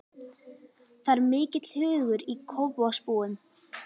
Það er mikill hugur í Kópavogsbúum.